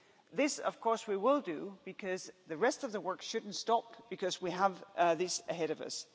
This, of course we will do, because the rest of the work should not stop because we have this ahead of us.